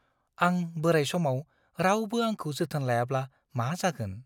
आं बोराइ समाव रावबो आंखौ जोथोन लायाब्ला मा जागोन?